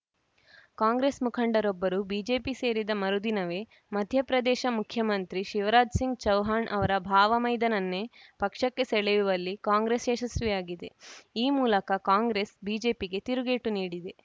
ಕಾಂಗ್ರೆಸ್‌ ಮುಖಂಡರೊಬ್ಬರು ಬಿಜೆಪಿ ಸೇರಿದ ಮರುದಿನವೇ ಮಧ್ಯಪ್ರದೇಶ ಮುಖ್ಯಮಂತ್ರಿ ಶಿವರಾಜ್‌ ಸಿಂಗ್‌ ಚೌಹಾಣ್‌ ಅವರ ಭಾವಮೈದನನ್ನೇ ಪಕ್ಷಕ್ಕೆ ಸೆಳೆಯುವಲ್ಲಿ ಕಾಂಗ್ರೆಸ್‌ ಯಶಸ್ವಿಯಾಗಿದೆ ಈ ಮೂಲಕ ಕಾಂಗ್ರೆಸ್‌ ಬಿಜೆಪಿಗೆ ತಿರುಗೇಟು ನೀಡಿದೆ